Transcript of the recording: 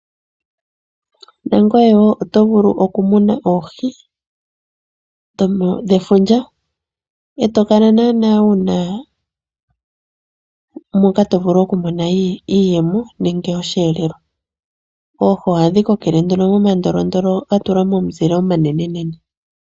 Na ngoye wo oto vulu okumuna oohi dhefundja e to kala naana wu na moka to vulu okumona iiyemo nenge osheelelwa. Oohi ohadhi kokele nduno momandolondolo ga tulwa momuzile omanenenene.